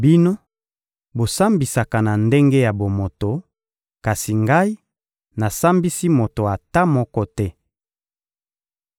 Bino, bosambisaka na ndenge ya bomoto; kasi Ngai, nasambisi moto ata moko te.